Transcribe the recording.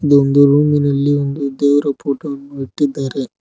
ಇದೊಂದು ರೂಮಿನಲ್ಲಿ ಒಂದು ದೇವರ ಫೋಟೋ ವನ್ನು ಇಟ್ಟಿದ್ದಾರೆ.